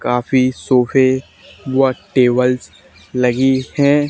काफी सोफे व टेबल्स लगी है।